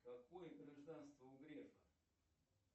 какое гражданство у грефа